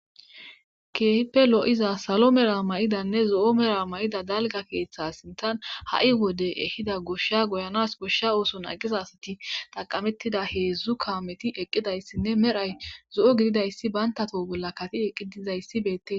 keehipe lo'iza salo mela mayidanne zo'o mela mayida dalga keeththa sintan ha'i wode ehida goshsha goyanas goshsha ooson aqisa asati taqamettida heedzdzu kaameti eqqidayssinne medhay zo'o gididayssi banta to,o bolla kati eqqidizayssi beettes